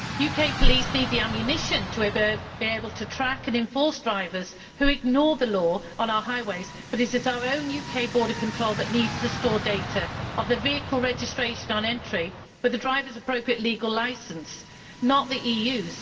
UK police need the ammunition to be able to track and enforce drivers who ignore the law on our highways, but it is our own UK border control that needs to store data on the vehicle registration on entry, with the driver's appropriate legal licence, not the EU's.